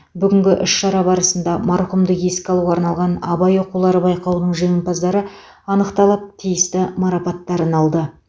бүгінгі іс шара барысында марқұмды еске алуға арналған абай оқулары байқауының жеңімпаздары анықталып тиісті марапаттарын алды